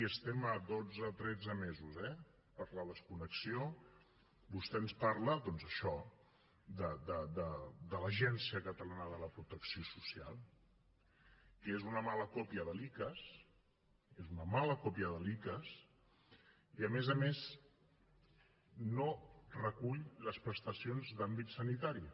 estem a dotze tretze mesos eh per a la desconnexió vostè ens parla doncs això de l’agència catalana de la protecció social que és una mala còpia de l’icass és una mala còpia de l’icass i a més a més no recull les prestacions d’àmbit sanitari